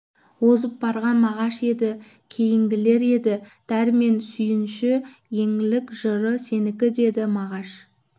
озып барған мағаш еді кейінгілер еді дәрмен шүйінші еңлік жыры сенікі деді мағаш